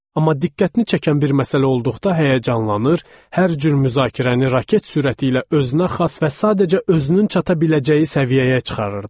Amma diqqətini çəkən bir məsələ olduqda həyəcanlanır, hər cür müzakirəni raket sürəti ilə özünə xas və sadəcə özünün çata biləcəyi səviyyəyə çıxarırdı.